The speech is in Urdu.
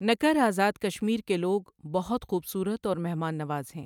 نکر ازاد کشمیر کے لوگ بہت خوبصورت اور مہمان نواز ہیں۔